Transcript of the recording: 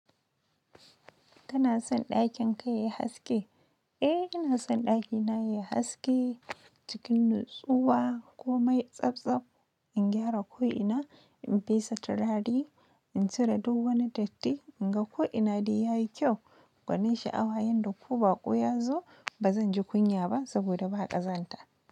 Kana son ɗakin kai yayi haske? Eh ina son ɗakina yayi haske, cikin nutsuwa ko mai tsabtsab. In gyara ko'ina, in fesa turare, in cire duwani datti, in ga ko'ina de ya yi kyau. Gwanin sha'awa yanda ko baƙo ya zo, ba zan ji kunya ba saboda ba haƙa zan ta.